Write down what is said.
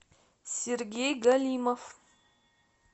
сергей галимов